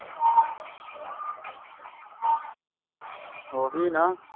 ਓਹੀ ਨਾ